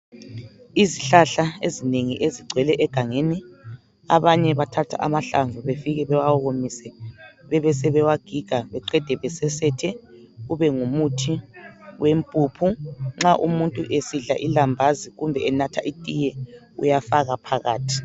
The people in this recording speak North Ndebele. Izihlahla ezinengi ezigcwele egangeni, abanye bathatha amahlamvu befike bewawomise bebesebewagiga beqede besesethe ube ngumuthi wempuphu. Nxa umuntu esidla ilambazi kumbe enatha itiye uyafaka phakathi.